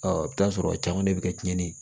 i bɛ t'a sɔrɔ caman de bɛ kɛ tiɲɛni